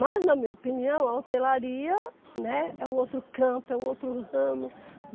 Mas, na minha opinião, a hotelaria, né, é um outro campo, é um outro ramo.